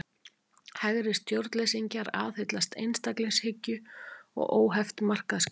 Hægri stjórnleysingjar aðhyllast einstaklingshyggju og óheft markaðskerfi.